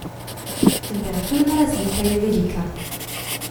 Temperaturna razlika je velika.